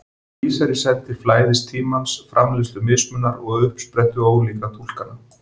Það vísar í senn til flæðis tímans, framleiðslu mismunar og uppsprettu ólíkra túlkana.